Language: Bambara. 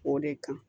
O de kan